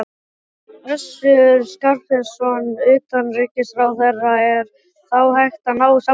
Össur Skarphéðinsson, utanríkisráðherra: Er þá hægt að ná samkomulagi?